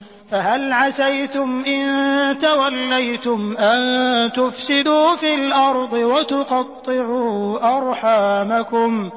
فَهَلْ عَسَيْتُمْ إِن تَوَلَّيْتُمْ أَن تُفْسِدُوا فِي الْأَرْضِ وَتُقَطِّعُوا أَرْحَامَكُمْ